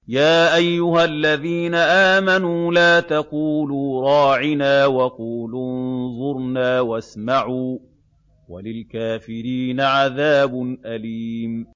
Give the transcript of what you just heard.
يَا أَيُّهَا الَّذِينَ آمَنُوا لَا تَقُولُوا رَاعِنَا وَقُولُوا انظُرْنَا وَاسْمَعُوا ۗ وَلِلْكَافِرِينَ عَذَابٌ أَلِيمٌ